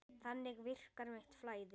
Þannig virkar mitt flæði.